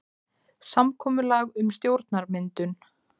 Samkomulag um stjórnarmyndun